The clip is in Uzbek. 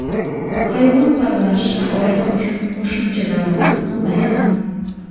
Hayvon parvarishi oila uchun qo‘shimcha daromad manbai ham.